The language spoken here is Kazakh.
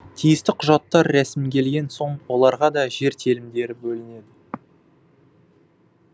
тиісті құжаттар рәсімделген соң оларға да жер телімдері бөлінеді